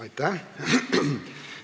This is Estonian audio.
Aitäh!